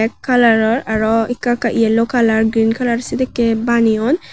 ek kalaror araw ekka ekka yellow colour green kalar sidikke baneyon.